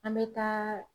An bɛ taa